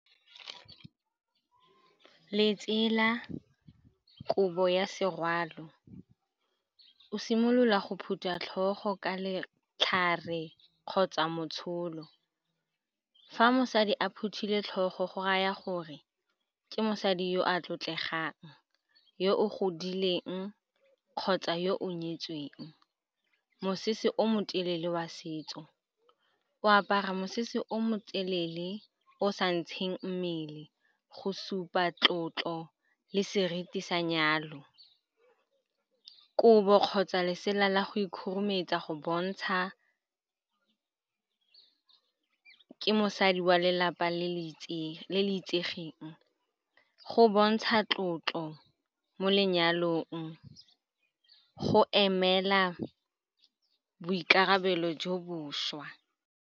Letsela kobo ya serwalo, o simolola go phutha tlhogo ka letlhare kgotsa motsholo. Fa mosadi a phuthile tlhogo go raya gore ke mosadi yo a tlotlegang, yo o godileng kgotsa yo o nyetsweng. Mosese o motelele wa setso, o apara mosese o motelele o sa ntsheng mmele go supa tlotlo le seriti sa nyalo. Kobo kgotsa lesela la go ikhurumetsa go bontsha ke mosadi wa lelapa le le itsegeng, go bontsha tlotlo mo lenyalong, go emela boikarabelo jo bošwa.